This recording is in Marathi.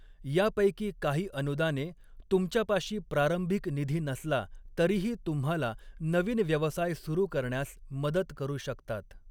यापैकी काही अनुदाने तुमच्यापाशी प्रारंभिक निधी नसला तरीही तुम्हाला नवीन व्यवसाय सुरू करण्यास मदत करू शकतात.